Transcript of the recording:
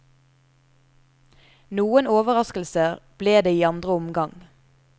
Noen overraskelser ble det i andre omgang.